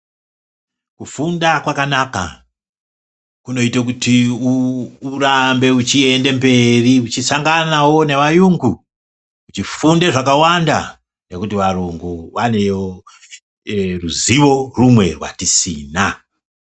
Kufunda kwakanaka, kunoite kuti urambe uchiyende mberi uchisangana wo nevaungu, uchifunde zvakawanda, nekuti varungu vanewo ruziwo rumwe rwatisina.